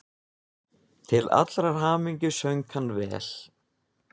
Til allrar hamingju söng hann vel!